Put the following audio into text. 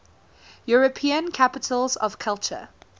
european capitals of culture